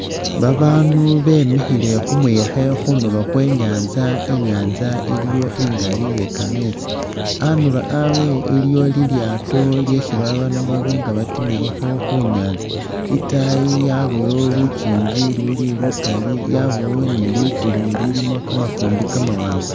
Babaandu bemikhile khu muyekhe khunulo khwe i'nyaanza, I'nyaanza iliwo ingali iye kameetsi. Andulo abwe iliwo lilyaato lyesi babaandu baba nga batimilakho khu nyaanza, itaayi yabayo lukingi ululi lukali, yabawo ni ligulu lilimu kamafumbi kamawaanga.